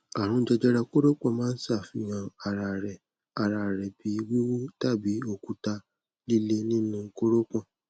àrùn jẹjẹrẹ koropon maa n ṣafihan ara rẹ ara rẹ bi wiwu tabi okuta lile nínú kórópọ̀n